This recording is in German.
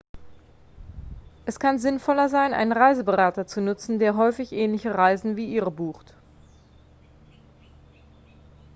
es kann sinnvoller sein einen reiseberater zu nutzen der häufig ähnliche reisen wie ihre bucht